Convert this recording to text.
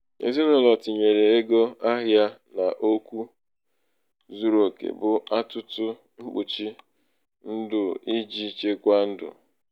ezinụlọ tinyere ego ahịa n'okwu zuru oke bụ atụtụ mkpuchi ndụ iji chekwaa ndụ iji chekwaa ego ha n'ọdịniihu.